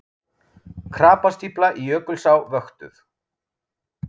Krapastífla í Jökulsá vöktuð